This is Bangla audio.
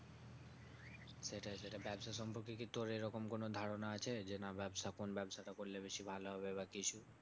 সেটাই সেটাই ব্যাবসা সম্পর্কে কি তোর এরকম কোনো ধারণা আছে? যে না ব্যাবসা কোন ব্যাবসাটা করলে বেশি ভালো হবে বা কিছু?